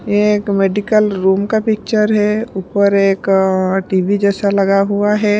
ये एक medical room का पिक्चर है ऊपर एक अअ टी_वी जैसा लगा हुआ है।